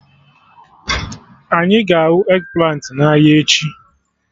Anyị ga-ahụ eggplant ị n'ahịa echi